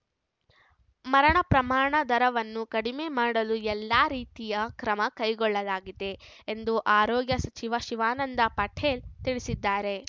ಮರಣ ಪ್ರಮಾಣ ದರವನ್ನು ಕಡಿಮೆ ಮಾಡಲು ಎಲ್ಲಾ ರೀತಿಯ ಕ್ರಮ ಕೈಗೊಳ್ಳಲಾಗಿದೆ ಎಂದು ಆರೋಗ್ಯ ಸಚಿವ ಶಿವಾನಂದ ಪಾಟೀಲ್‌ ತಿಳಿಸಿದ್ದಾರೆ